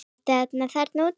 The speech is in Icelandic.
Ertu einn þarna úti?